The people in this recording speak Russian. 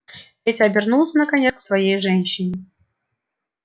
петя обернулся наконец к своей женщине